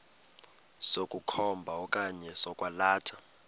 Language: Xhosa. sokukhomba okanye sokwalatha